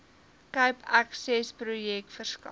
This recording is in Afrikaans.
cape accessprojek verskaf